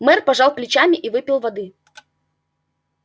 мэр пожал плечами и выпил воды